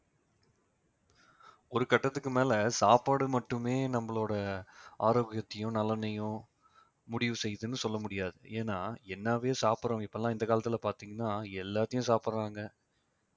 ஒரு கட்டத்துக்கு மேல சாப்பாடு மட்டுமே நம்மளோட ஆரோக்கியத்தையும் நலனையும் முடிவு செய்யுதுன்னு சொல்ல முடியாது ஏன்னா என்னாவே சாப்பிட சாப்பிடுறோம் இப்பெல்லாம் இந்த காலத்துல பார்த்தீங்கன்னா எல்லாத்தையும் சாப்பிடுறாங்க